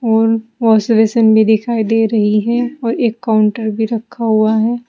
और wash basin भी दिखाई दे रही है और एक काउंटर भी रखा हुआ है।